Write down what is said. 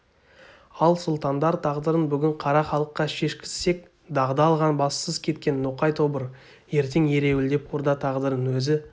ал сұлтандар тағдырын бүгін қара халыққа шешкізсек дағды алған бассыз кеткен ноқай тобыр ертең ереуілдеп орда тағдырын өзі